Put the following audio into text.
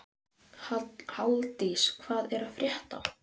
Halldís, hvað er að frétta?